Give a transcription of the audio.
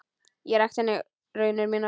Ég rakti henni raunir mínar.